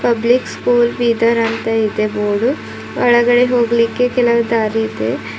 Public school ಬೀದರಂತ ಇದೆ board ಒಳಗಡೆ ಹೋಗ್ಲಿಕ್ಕೆ ಕೆಲವು ದಾರಿ ಇದೆ.